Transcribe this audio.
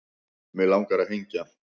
Mig langar að hengja